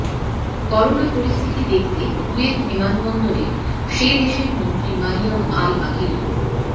corona পরিস্থিতি দেখতে Kuwait বিমানবন্দরে সেদেশের মন্ত্রী মারিয়াম আল আকিল